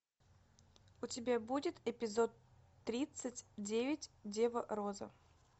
у тебя будет эпизод тридцать девять дева роза